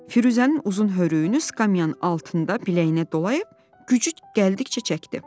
Firuzənin uzun hörüyünü skamyanın altında biləyinə dolayıb gücü gəldikcə çəkdi.